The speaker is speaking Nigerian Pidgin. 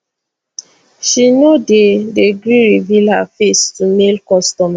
she no dey dey gree reveal her face to male customers